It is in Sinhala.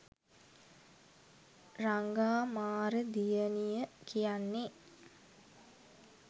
රඟා මාර දියණිය කියන්නේ